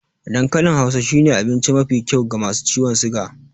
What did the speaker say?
Dan kalin hausa shine abince mafi kyau ga masu ciwon siga